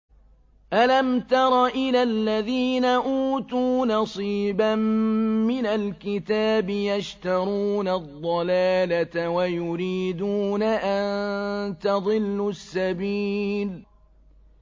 أَلَمْ تَرَ إِلَى الَّذِينَ أُوتُوا نَصِيبًا مِّنَ الْكِتَابِ يَشْتَرُونَ الضَّلَالَةَ وَيُرِيدُونَ أَن تَضِلُّوا السَّبِيلَ